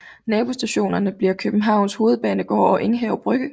Nabostationer bliver Københavns Hovedbanegård og Enghave Brygge